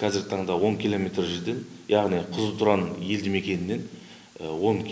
қазіргі таңда он километр жерде яғни қызылтұран елді мекенінен он